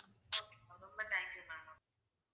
okay ma'am ரொம்ப thanks ma'am